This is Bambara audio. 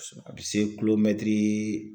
A bɛ se kulomɛtiri